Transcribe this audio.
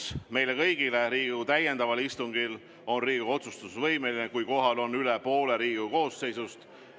Infoks meile kõigile: Riigikogu täiendaval istungil on Riigikogu otsustusvõimeline siis, kui kohal on üle poole Riigikogu koosseisust.